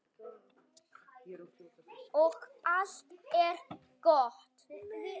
Og allt er gott.